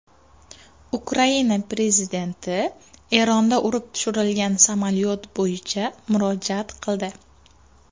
Ukraina prezidenti Eronda urib tushirilgan samolyot bo‘yicha murojaat qildi.